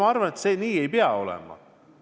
Ei, ma arvan, et see nii ei pea olema.